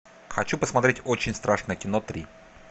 хочу посмотреть очень страшное кино три